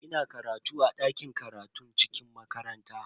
Ina karatu a dakin karatun cikin makaranta.